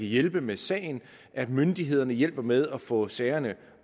hjælpe med sagen at myndighederne hjælper med at få sagerne